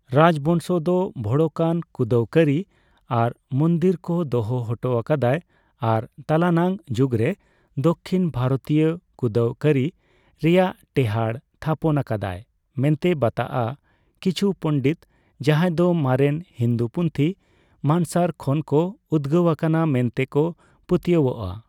ᱨᱟᱡᱽ ᱵᱚᱝᱥᱚ ᱫᱚ ᱵᱷᱚᱲᱚᱠᱟᱱ ᱠᱩᱸᱫᱟᱹᱣ ᱠᱟᱹᱨᱤ ᱟᱨ ᱢᱩᱱᱫᱤᱨ ᱠᱚ ᱫᱚᱦᱚ ᱦᱚᱴᱚ ᱟᱠᱟᱫᱟᱭ ᱟᱨ ᱛᱟᱞᱟᱱᱟᱝ ᱡᱩᱜᱽᱨᱮ ᱫᱚᱠᱠᱷᱤᱱ ᱵᱷᱟᱨᱚᱛᱤᱭᱚ ᱠᱩᱸᱫᱟᱹᱣ ᱠᱟᱹᱨᱤ ᱨᱮᱭᱟᱜ ᱴᱮᱦᱟᱸᱰ ᱛᱷᱟᱯᱚᱱ ᱟᱠᱟᱫᱟᱭ ᱢᱮᱱᱛᱮ ᱵᱟᱛᱟᱜᱼᱟ, ᱠᱤᱪᱷᱩ ᱯᱚᱱᱰᱤᱛ ᱡᱟᱦᱟᱸᱫᱚ ᱢᱟᱨᱮᱱ ᱦᱤᱱᱫᱩ ᱯᱩᱛᱷᱤ ᱢᱟᱱᱥᱟᱨ ᱠᱷᱚᱱ ᱠᱚ ᱩᱫᱜᱟᱹᱣ ᱟᱠᱟᱱᱟ ᱢᱮᱱᱛᱮ ᱠᱚ ᱯᱟᱹᱛᱭᱟᱹᱣᱚᱜ ᱟ ᱾